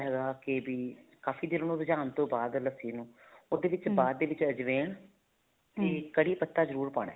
ਕੇ ਵੀ ਕਾਫ਼ੀ ਦੇਰ ਰਝਾਉਨ ਤੋਂ ਬਾਅਦ ਲੱਸੀ ਨੂੰ ਉਹਦੇ ਵਿੱਚ ਬਾਅਦ ਦੇ ਵਿੱਚ ਅਜਵੇਨ ਤੇ ਕੜੀ ਪੱਤਾ ਜਰੂਰ ਪਾਣਾ